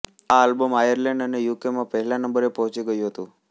આ album Ireland અને યુકેમાં પહેલા નંબરે પહોંચી ગયું હતું